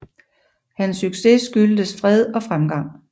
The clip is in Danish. Hans succes skyldtes fred og fremgang